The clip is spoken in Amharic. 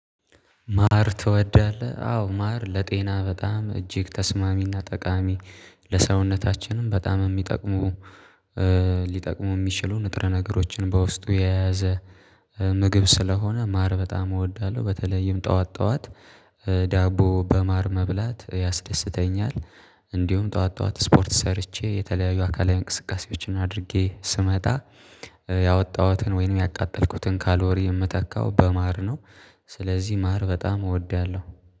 ማር ትወዳለህ? አዎ ማር ለጤና በጣም እጅግ ተስማሚና ጠቃሚ ለሰውነታችንም በጣም የሚጠቅሙ ሊጠቅሙ የሚችሉ ንጥረ ነገሮችን በውስጡ የያዘ ምግብ ስለሆነ ማር በጣም እወዳለሁ በተለይም ጠዋት ጠዋት ዳቦ በማር መብላት ያስደስተኛል። እንዲሁም ጠዋት ጠዋት ስፖርት ሰርቼ የተለያዩ አካላዊ እንቅስቃሴዎችን አድርጌ ስመጣ ያወጣሁትን ወይንም ያቃጠልኩትን ካሎሪ የምታካው በማር ነው። ስለዚህ ማር በጣም እወዳለሁ